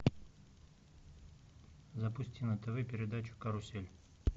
запусти на тв передачу карусель